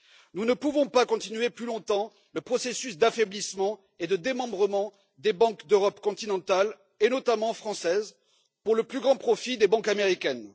Nous ne pouvons pas continuer plus longtemps le processus d'affaiblissement et de démembrement des banques d'Europe continentale, et notamment françaises, pour le plus grand profit des banques américaines.